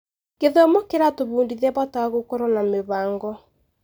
Gĩthomo kĩratũbundithia bata wa gũkorwo na mĩbango.